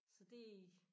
Så det